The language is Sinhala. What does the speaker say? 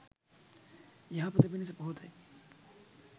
යහපත පිණිස පවතියි